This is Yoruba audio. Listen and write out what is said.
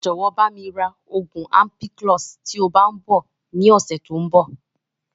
Jọ̀wọ́ bami ra oògùn ampiclox" tí ó bá tíì ń bọ̀ ni ọ̀sẹ̀ tòun bọ̀